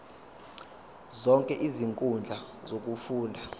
zonke izinkundla zokufunda